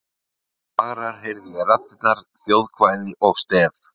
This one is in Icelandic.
Fagrar heyrði ég raddirnar: þjóðkvæði og stef.